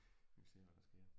Vi må se hvad der sker